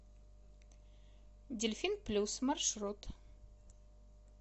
дельфин плюс маршрут